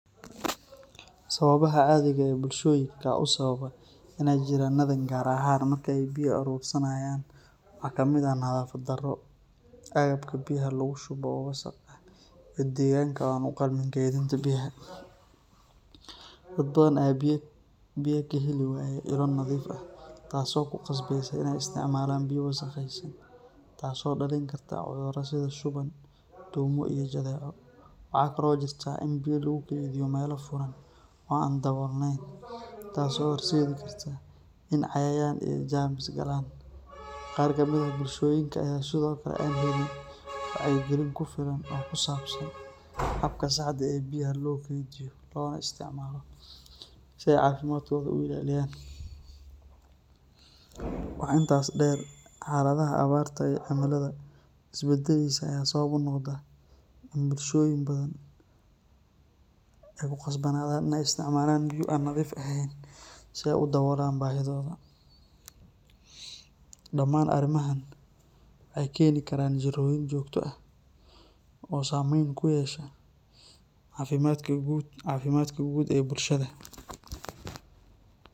Sababaha caadiga ah ee bulshoyinka u sababa in ay jirranadaan gaar ahaan marka ay biyo aruursanayaan waxaa ka mid ah nadaafad darro, agabka biyaha lagu shubo oo wasakh ah, iyo deegaanka oo aan u qalmin kaydinta biyaha. Dad badan ayaa biyo ka heli waaya ilo nadiif ah, taasoo ku qasbeysa inay isticmaalaan biyo wasakhaysan, taasoo dhalin karta cudurro sida shuban, duumo iyo jadeeco. Waxaa kale oo jirta in biyo lagu keydiyo meelo furan oo aan daboolnayn, taas oo horseedi karta in cayayaan iyo jeermis galaan. Qaar ka mid ah bulshooyinka ayaa sidoo kale aan helin wacyigelin ku filan oo ku saabsan habka saxda ah ee biyaha loo kaydiyo loona isticmaalo si ay caafimaadkooda u ilaaliyaan. Waxa intaas dheer, xaaladaha abaarta iyo cimilada is beddeleysa ayaa sabab u noqda in bulshooyin badan ay ku khasbanaadaan inay isticmaalaan biyo aan nadiif ahayn si ay u daboolaan baahidooda. Dhammaan arrimahan waxay keeni karaan jirrooyin joogto ah oo saamayn ku yeesha caafimaadka guud ee bulshada.